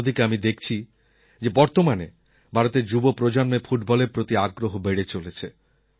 অন্য দিকে আমি দেখছি যে বর্তমানে ভারতের যুব প্রজন্মের ফুটবলের প্রতি আগ্রহ বেড়ে চলেছে